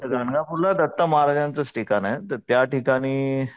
गाणगापूरला दत्त महाराजांचाच ठिकाणे तर त्या ठिकाणी,